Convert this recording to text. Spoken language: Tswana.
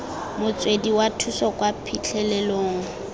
motswedi wa thuso kwa phitlhelelong